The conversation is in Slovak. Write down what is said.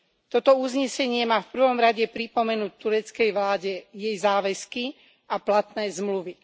Toto uznesenie má v prvom rade pripomenúť tureckej vláde jej záväzky a platné zmluvy.